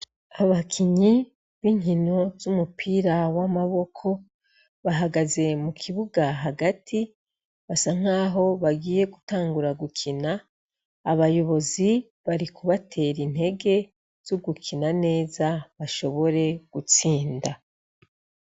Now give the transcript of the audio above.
Abakinyi b' inkino z' umupira w' amaboko bahagaze mu kibuga hagati basa nkaho bagiye gutangura gukina abayobozi bari kubatera intege zo gukina neza bashobore gutsinda.